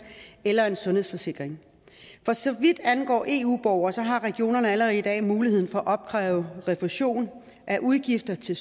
eller en sundhedsforsikring for så vidt angår eu borgere har regionerne allerede i dag mulighed for at opkræve refusion af udgifter til